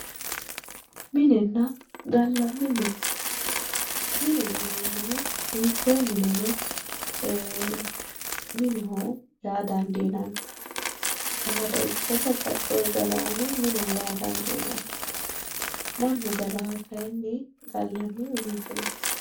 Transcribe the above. Minenna gallanni mine ,mine yineemmohu hiikkoe mineno ee mineho yaa dandiinanni saada ikko babbaxewori gallare mineho yaa dandiinanni ,mannu gallanoha kayinni gallanni mine yinnanni.